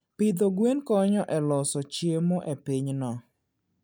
Pidho gwen konyo e loso chiemo e pinyno.